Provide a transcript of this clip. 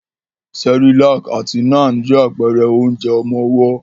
Cerelac àti Nan je àpẹrẹ onjẹ ọmọwọ́.